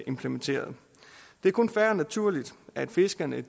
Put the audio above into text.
implementeret det er kun fair og naturligt at fiskerne